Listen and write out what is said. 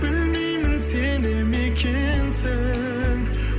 білмеймін сене ме екенсің